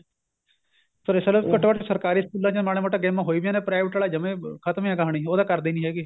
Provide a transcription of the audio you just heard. ਚਲੋ ਘੱਟੋ ਘੱਟ ਸਰਕਾਰੀ ਸਕੂਲਾ ਚ ਮਾੜੀ ਮੋਟੀ game ਹੋਈ ਜਾਂਦਾ private ਵਾਲੇ ਜਮਾ ਈ ਖਤਮ ਈ ਏ ਕਹਾਣੀ ਉਹ ਤਾਂ ਕਰਦੇ ਈ ਨੀ ਹੈਗੇ